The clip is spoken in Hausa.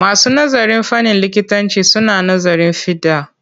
Masu nazarin fannin likitanci suna nazarin fiɗa.